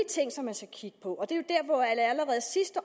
ting som man skal kigge på